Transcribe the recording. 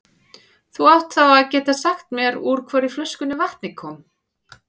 Þú átt þá að geta sagt mér úr hvorri flöskunni vatnið kom.